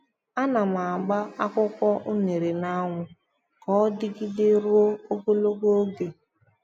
A na m agba akwụkwọ unere n'anyanwu ka ọ dịgide ruo ogologo oge.